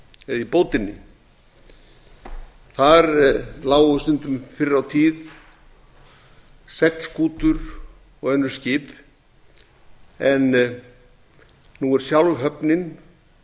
stórubót eða í bótinni þar lágu stundum fyrr á tíð seglskútur og önnur skip en nú er sjálf höfnin